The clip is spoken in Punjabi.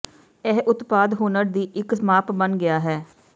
ਇਹ ਉਤਪਾਦ ਹੁਨਰ ਦੀ ਇੱਕ ਮਾਪ ਬਣ ਗਿਆ ਹੈ